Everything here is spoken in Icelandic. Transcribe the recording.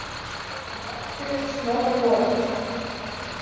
Hann vakti upp Snorra goða.